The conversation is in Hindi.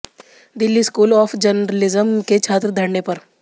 दिल्ली स्कूल ऑफ जर्नलिज्म के छात्र धरने पर